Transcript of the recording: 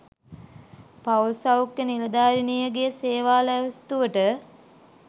පවුල් සෞඛ්‍ය නිලධාරිනියගේ සේවා ලැයිස්තුවට